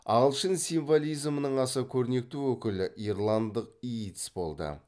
ағылшын символизмінің аса көрнекті өкілі ирландық йитс болды